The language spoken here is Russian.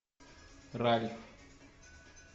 ральф